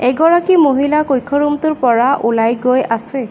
এগৰাকী মহিলা কক্ষ ৰূম টোৰ পৰা ওলাই গৈ আছে।